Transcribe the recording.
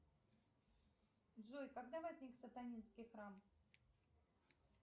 джой когда возник сатанинский храм